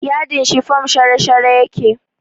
Yadin shifom shara-shara yake